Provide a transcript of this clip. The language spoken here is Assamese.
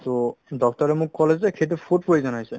to doctor য়ে মোক ক'লে যে সেইটো food poison হৈছে